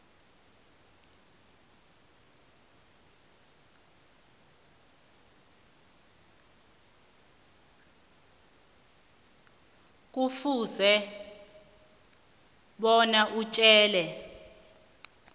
kufuze bona atjele